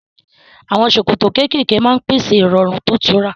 Àwọn ṣòkòtò kéékèèké máa ń pèsè ìrọ̀rùn tó tura